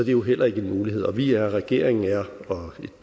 jo heller ikke en mulighed og vi regeringen